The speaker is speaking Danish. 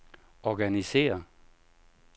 organisér